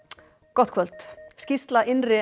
gott kvöld skýrsla innri